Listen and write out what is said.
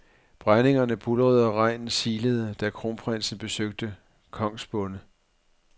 Brændingerne buldrede og regnen silede, da kronprinsen besøgte kongsbonde.